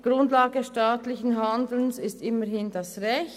Grundlage staatlichen Handelns ist immerhin das Recht.